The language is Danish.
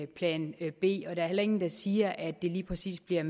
plan b og der er heller ingen der siger at det lige præcis bliver